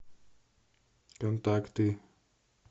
контакты